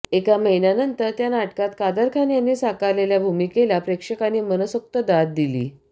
एका महिन्यानंतर त्या नाटकात कादर खान यांनी साकारलेल्या भूमिकेला प्रेक्षकांनी मनसोक्त दाद देत